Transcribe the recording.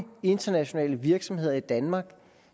internationale virksomheder i danmark